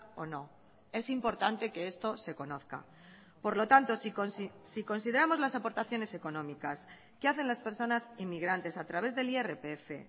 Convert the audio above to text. o no es importante que esto se conozca por lo tanto si consideramos las aportaciones económicas que hacen las personas inmigrantes a través del irpf